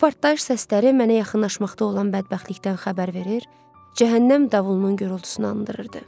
Bu partlayış səsləri mənə yaxınlaşmaqda olan bədbəxtlikdən xəbər verir, cəhənnəm davulunun gurultusunu andırırdı.